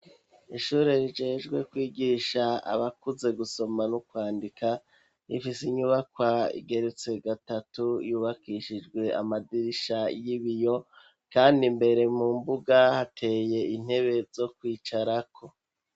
ishuri rijejwe kwigisha abakuze gusoma no kwandika rifise inyubakwa igerutse gatatu yubakishijwe amadirisha y'ibiyo kandi mbere mu mbuga hateye intebe zo kwicarako